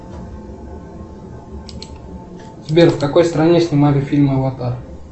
сбер в какой стране снимали фильм аватар